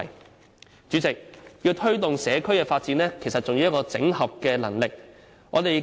代理主席，要推動社區發展，其實還需要整合能力。